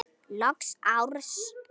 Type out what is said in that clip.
Lok árs.